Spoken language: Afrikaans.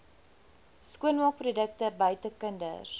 skoonmaakprodukte buite kinders